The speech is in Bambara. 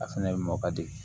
A fɛnɛ mɔ ka di